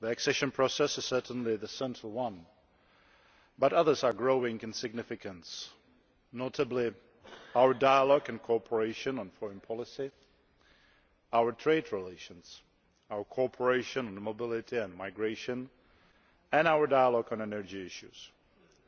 The accession process is certainly the central one, but others are growing in significance, notably our dialogue and cooperation on foreign policy, our trade relations, our cooperation on mobility and migration and our dialogue on energy issues